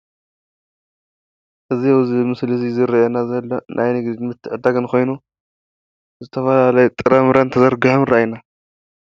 እዙይ ኣብዚ ምስሊ እዙይ ዝርኣየና ዘሎ ናይ ንግድን ምትዕድዳግን ኮይኑ ዝተፈላለየ ጥራምረን ተዘርጊሖም ይርኣየና።